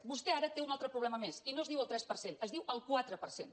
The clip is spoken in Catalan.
vostè ara té un altre problema més i no es diu el tres per cent es diu el quatre per cent